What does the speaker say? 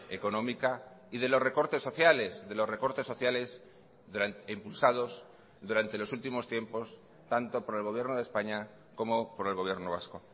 económica y de los recortes sociales de los recortes sociales impulsados durante los últimos tiempos tanto por el gobierno de españa como por el gobierno vasco